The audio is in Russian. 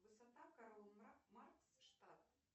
высота карл маркс штадт